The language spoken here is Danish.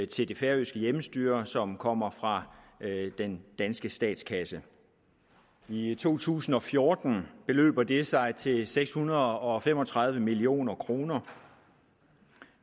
til det færøske hjemmestyre som kommer fra den danske statskasse i to tusind og fjorten beløber det sig til seks hundrede og fem og tredive million kroner